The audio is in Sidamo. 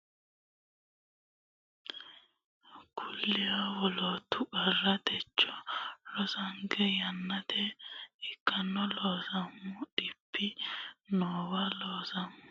Looseemmo dhibbi noowa gatannokki woy ta mannokki gede aleenni kullirinna wolootu qarra techo rosinke yannate ikkino Looseemmo dhibbi noowa Looseemmo.